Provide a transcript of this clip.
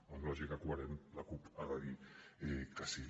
en lògica coherent la cup hi ha de dir que sí